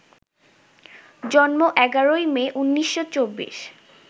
জন্ম ১১ই মে, ১৯২৪